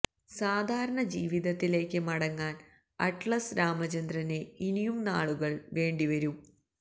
സാധാരണ ജീവിതത്തിലേക്ക് മടങ്ങാൻ അറ്റ്ലസ് രാമചന്ദ്രന് ഇനിയും നാളുകൾ വേണ്ടി വരും